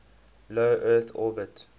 low earth orbit